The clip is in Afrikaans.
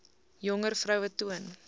jonger vroue toon